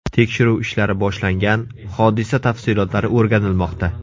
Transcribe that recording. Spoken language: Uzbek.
Tekshiruv ishlari boshlangan, hodisa tafsilotlari o‘rganilmoqda.